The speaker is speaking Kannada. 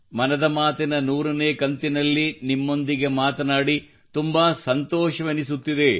ಮನದ ಮಾತಿನ 100 ನೇ ಕಂತಿನಲ್ಲಿ ನಿಮ್ಮೊಂದಿಗೆ ಮಾತನಾಡಿ ತುಂಬಾ ಸಂತೋಷವೆನಿಸುತ್ತಿದೆ